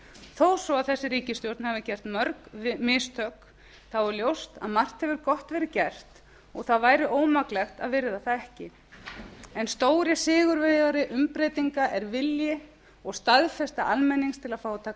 þó svo að þessi ríkisstjórn hafi gert mörg mistök er ljóst að margt hefur gott verið gert og það væri ómaklegt að virða það ekki en stóri sigurvegari umbreytinga er vilji og staðfesta almennings til að fá að taka